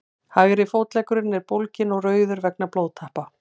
hægri fótleggurinn er bólginn og rauður vegna blóðtappa